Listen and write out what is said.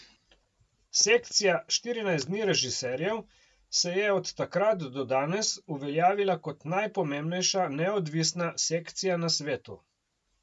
Sekcija Štirinajst dni režiserjev se je od takrat do danes uveljavila kot najpomembnejša neodvisna sekcija na svetu.